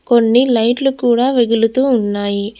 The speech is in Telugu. కొన్ని లైట్లు కూడా వెగులుతూ ఉన్నాయి.